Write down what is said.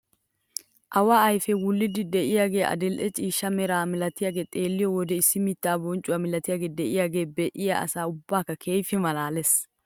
Awa afee wulliidi de'iyaagee adil'e ciishsha meraa milatiyaagaa xeelliyoo wode issi miittaa bonccuwaa milatiyaagee de'iyaagee be'iyaa asaa ubbaa keehippe malaales!